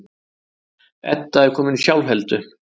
Edda er komin í sjálfheldu.